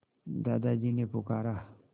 दादाजी ने पुकारा